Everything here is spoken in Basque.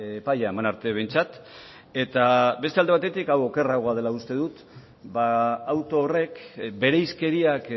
epaia eman arte behintzat eta beste alde batetik hau okerragoa dela uste dut auto horrek bereizkeriak